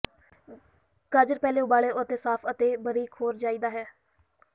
ਗਾਜਰ ਪਹਿਲੇ ਉਬਾਲਣ ਅਤੇ ਸਾਫ਼ ਅਤੇ ਬਾਰੀਕ ੋਹਰ ਚਾਹੀਦਾ ਹੈ